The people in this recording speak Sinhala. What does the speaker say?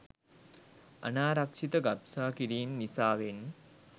අනාරක්‍ෂිත ගබ්සා කිරීම් නිසාවෙන්